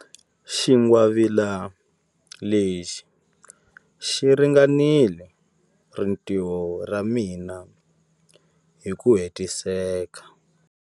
Xingwavila lexi xi ringanela rintiho ra mina hi ku hetiseka.